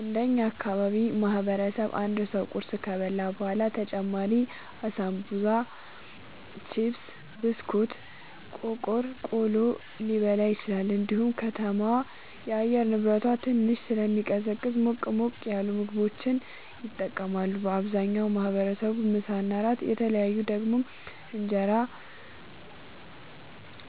እንደ እኛ ማህበረሰብ አንድ ሰው ቁርስ ከበላ በኋላ በተጨማሪም አሳንቡሳ ቺፕስ ብስኩት ቆቀር ቆሎ ሊበላ ይችላል እንዲሁም ከተማዋ የአየር ንብረቷ ትንሽ ስለሚቀዘቅዝ ሞቅ ሞቅ ያሉ ምግቦችን ይጠቀማሉ አብዛኛው ማህበረሰብ ምሳ እና እራት በተለይ ደግሞ እራት እንጀራ